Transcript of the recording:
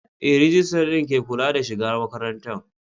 Ee, rijistar din ke kula da shiga makarantar.